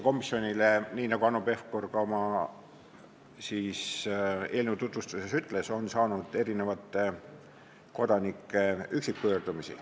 Tõesti, nagu Hanno Pevkur eelnõu tutvustades ütles, komisjon on saanud kodanike üksikpöördumisi.